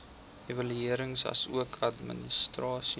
evaluering asook administrasie